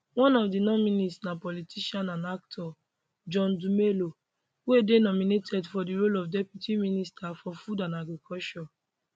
one of di nominees na politician and actor john dumelo wey dey nominated for di role of deputy minister for food and agriculture